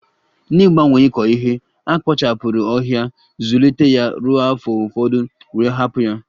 N'ịgbanwe ịkọ ihe, a kpochapụrụ ọhịa, Zụlite ya ruo afọ ụfọdụ wee hapụ ya